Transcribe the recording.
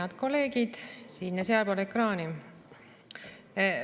Head kolleegid siin- ja sealpool ekraani!